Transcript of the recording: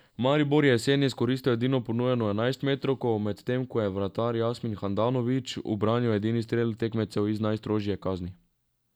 Maribor je jeseni izkoristil edino ponujeno enajstmetrovko, medtem ko je vratar Jasmin Handanović ubranil edini strel tekmecev iz najstrožje kazni.